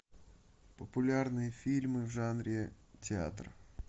популярные фильмы в жанре театр